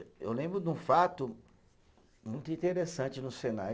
Eu lembro de um fato muito interessante no Senai.